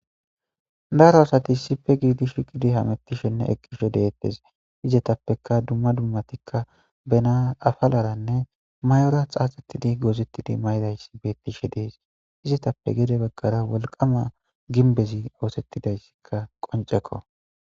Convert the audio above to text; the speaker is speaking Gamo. Daro asati sipe giidi shiqidi hamettishenne eqqisho deettes izetappeka dumma dummatikka bena afalaranne may'ora xaaxettidi goozettidi maydayssi beettishe dees izetappe gede baggara wolqama gimbezi oosettidayssikka qoncekko.